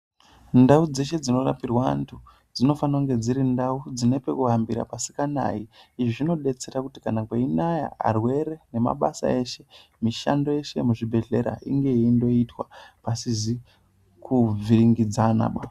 Ndau dzeshe dzinorapirwa anthu dzinofanirwa kunge dziri ndau dzine pekuhambira pasinganayi .Izvi zvinobetsera kuti kana kweinaya arwere, nemabasa eshe ,mishando yeshe yemuzvibhehlera inge yeindoitwa pasizi kuvhiringidzanaba.